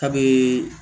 A bɛ